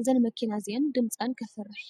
እዘን መኪና እዚን ድምፀን ከፍርሕ ።